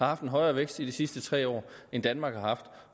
haft en højere vækst i de sidste tre år end danmark har haft